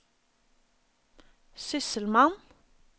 sysselmann